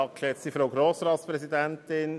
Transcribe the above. Verletzung Aufgabenteilungsgrundsätze [FILAG]).